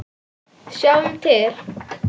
Sjáum til.